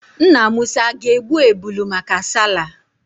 Nna musa ga-egbu ebulu maka sallah?